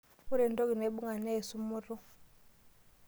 Ore entoki naibung'a naa esumoto.